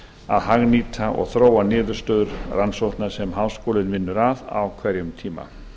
að hagnýta og þróa niðurstöður rannsókna sem háskólinn vinnur að á hverjum tíma